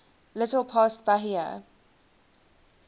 little past bahia